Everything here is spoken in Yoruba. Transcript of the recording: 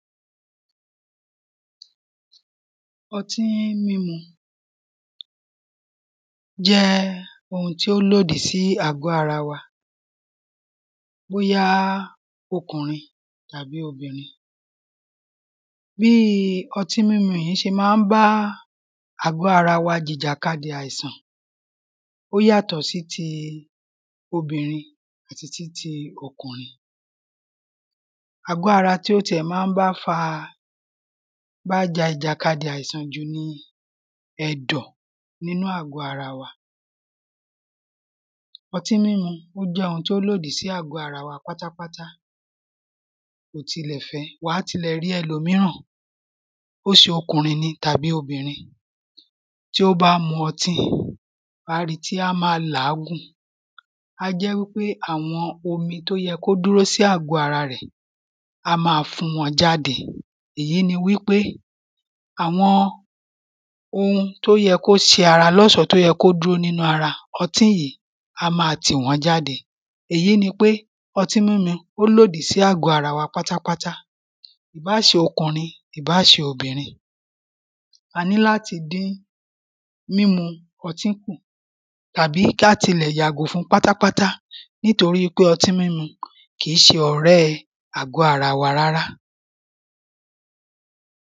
ọtí mímu jẹ́ ohun tí ó lòdì sí àgọ́ ara wa bóyá okùnrin tàbí obìnrin bíi ọtí múmú yìí ṣe máa bá àgọ́ ara wa jìjàkadì àìsàn ó yàtọ̀ sí ti obìnrin àti ti ti ọkùnrin àgọ́ ara tí ó tiẹ̀ máa ń bá fa bá ja ìjàkadì àìsàn jù ni ẹ̀dọ̀ nínú àgọ́ ara wa ọtí mimu ó jẹ́ ohun tí ó lòdì sí àgọ́ ara wa pátápátá kò tilẹ fẹ wà á tilẹ̀ rí ẹlòmíràn ó ṣe okùnrin ni tàbí obìnrin tí ó bá mu ọtí wà á rí i tí a máa làágùn á jẹ́ wípé àwọn omi tí ó yẹ kí ó dúró sí àgọ́ ara rẹ̀ á máa fún wọn jáde èyí ni wípé àwọn ohun tó yẹ kó ṣe ara lọ́ṣọ̀ọ́ tó yẹ kó dúró nínú ara ọtí yìí á máa tì wọ́n jáde èyí ni pé ọtí mímu ó lòdì sí àgọ́ ara wa pátápátá báà ṣe okùnrin ìbáà ṣe obìnrin a ní láti dín mímu ọtí kù tàbí ka tilẹ̀ yàgò fún un pátápátá nítorí pé ọti mímu kìí ṣe ọ̀rẹ́ àgọ́ ara wa rárá